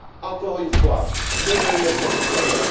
Encore une fois, que veulent nos concitoyens?